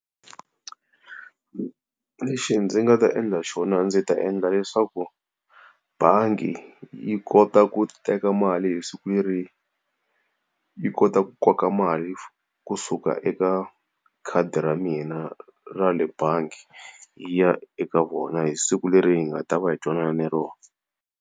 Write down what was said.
Lexi ndzi nga ta endla xona ndzi ta endla leswaku bangi yi kota ku teka mali hi siku leri yi kotaka ku koka mali kusuka eka khadi ra mina ra le bangi, yi ya eka vona hi siku leri hi nga ta va hi twanane ni rona.